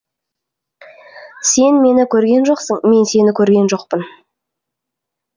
сен мені көрген жоқсың мен сені көрген жоқпын